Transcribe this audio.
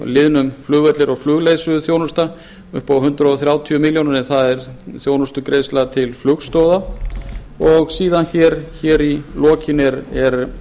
liðnum flugvellir og flugleiðsöguþjónusta upp á hundrað þrjátíu milljónir en það er þjónustugreiðsla til flugstoða síðan í lokin eru